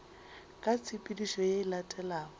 ka tshepedišo ye e latelago